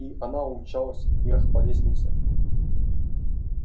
и она умчалась вверх по лестнице